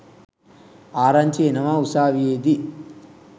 ආරංචි එනවා උසාවියේදී